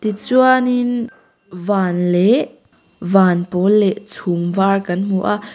tichuanin van leh van pawl leh chhum var kan hmu a.